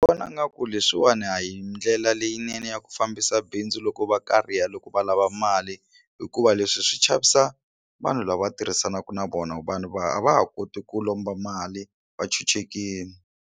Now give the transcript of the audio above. Vona nga ku leswiwani a hi ndlela leyinene ya ku fambisa bindzu loko va kariha loko va lava mali hikuva leswi swi chavisa vanhu lava tirhisanaka na vona vanhu va a va ha koti ku lomba mali va chuchekile.